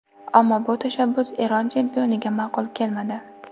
Ammo bu tashabbus Eron chempioniga ma’qul kelmadi.